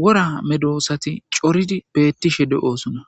wora medosati coridi beettishe de7oosuna